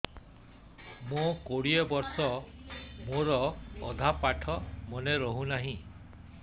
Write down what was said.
ମୋ କୋଡ଼ିଏ ବର୍ଷ ମୋର ଅଧା ପାଠ ମନେ ରହୁନାହିଁ